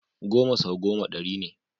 Goma sau goma ɗari ne.